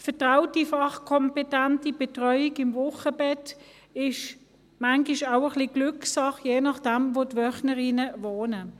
Vertraute, fachkompetente Betreuung im Wochenbett ist manchmal auch ein wenig Glückssache, je nachdem, wo die Wöchnerinnen wohnen.